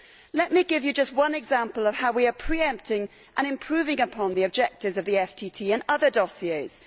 Let me give you just one example of how we are pre empting and improving upon the objectives of the FTT in other dossiers.